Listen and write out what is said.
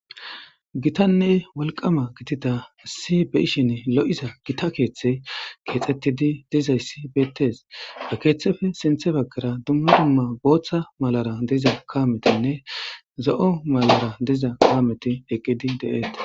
Gitanne walqama gitida si be ishin lo'iza gita keeththe keexettidi dizayssi beettes da keeththefe sinthe baggara dumma dumma gooththa malara diza kaametinne zo'o malara diza kaameti eqqidi deeete.